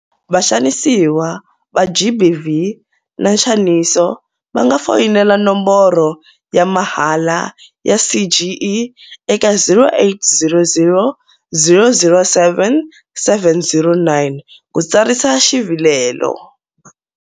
Vaxanisiwa va GBV na nxaniso va nga foyinela nomboro ya mahala ya CGE eka 0800 007 709 ku tsarisa xivilelo.